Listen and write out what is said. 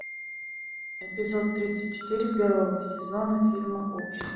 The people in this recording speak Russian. эпизод тридцать четыре первого сезона фильма общество